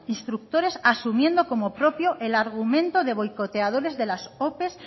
instructores asumiendo como propio el argumento de boicoteadores de las ope